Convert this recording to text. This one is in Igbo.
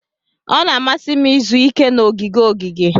Ọ na-amasị m izu ike na ogige ogige.